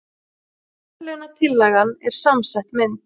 Verðlaunatillagan er samsett mynd